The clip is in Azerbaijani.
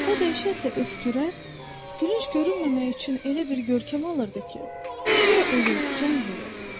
O dəhşətlə öskürər, gülünc görünməmək üçün elə bir görkəm alırdı ki, guya ölür, can verir.